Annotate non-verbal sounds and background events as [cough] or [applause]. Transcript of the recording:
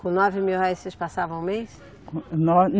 Com nove mil réis vocês passavam o mês? Com [unintelligible]